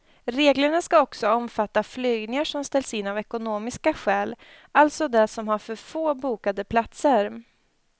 Reglerna ska också omfatta flygningar som ställs in av ekonomiska skäl, alltså de som har för få bokade platser.